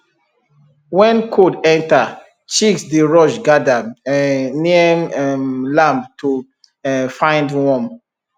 when cold enter chicks dey rush gather um near um lamp to um find warm